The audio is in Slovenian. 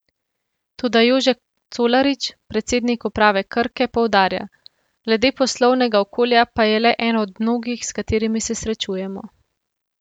Toda Jože Colarič, predsednik uprave Krke, poudarja: 'Glede poslovnega okolja pa je le eno od mnogih, s katerim se srečujemo.